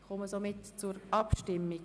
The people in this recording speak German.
Wir kommen somit zur Abstimmung.